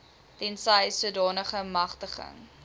tensy sodanige magtiging